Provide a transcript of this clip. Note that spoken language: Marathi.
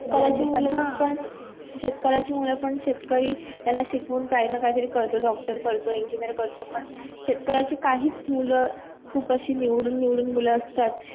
तर मूल पन शेतकार्याचे मूल पन शेतकरी त्यांना शिकून काही न काही करतो doctor करतो engineer करतो पन शेतकार्याचे काहीस मूल खुब असे निवडून निवडून मूल असतात